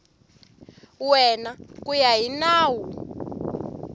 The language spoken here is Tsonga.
wena ku ya hi nawu